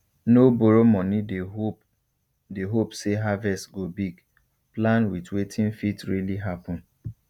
no borrow money dey hope dey hope say harvest go big plan with wetin fit really happen